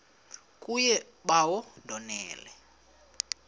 kuye bawo ndonile